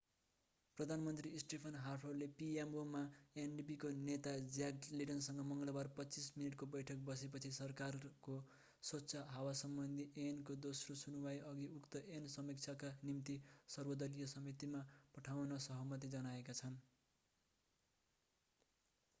प्रधानमन्त्री स्टेफेन हार्परले pmo मा ndp का नेता ज्याक लेटनसँग मङ्गलबार 25 मिनेटको बैठक बसेपछि सरकारको स्वच्छ हावासम्बन्धी ऐन'को दोस्रो सुनुवाइअघि उक्त ऐन समीक्षाका निम्ति सर्वदलीय समितिमा पठाउन सहमति जनाएका छन्